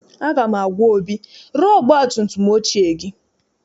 Aga m agwa Obi, ree ọgbatumtum ochie gị!